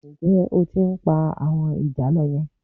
Ǹjẹ́ o tí ń pa àwọn ìjàlọ yẹn?